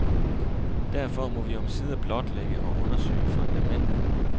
Derfor må vi omsider blotlægge og undersøge fundamentet.